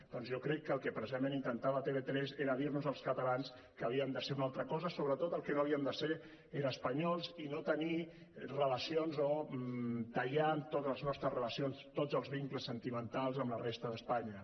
doncs jo crec que el que precisament intentava tv3 era dir nos als catalans que havíem de ser una altra cosa sobretot el que no havíem de ser era espanyols i no tenir relacions o tallar amb totes les nostres relacions tots els vincles sentimentals amb la resta d’espanya